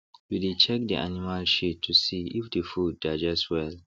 we dey check the animal shit to see if the food digest well